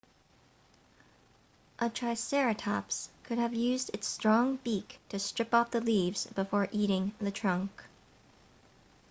a triceratops could have used its strong beak to strip off the leaves before eating the trunk